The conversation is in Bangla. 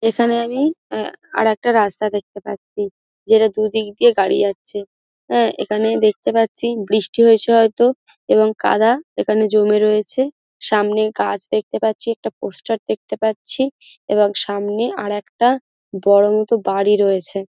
এখানে আমি আহ আর একটা রাস্তা দেখতে পাচ্ছি যেটা দুদিক দিয়ে গাড়ি যাচ্ছে হ্যাঁ এখানে দেখতে পাচ্ছি বৃষ্টি হয়েছে হয়তো এবং কাদা এখানে জমে রয়েছে সামনে গাছ দেখতে পাচ্ছি একটা পোস্টার দেখতে পাচ্ছি এবং সামনে আর একটা বড় মত বাড়ি রয়েছে।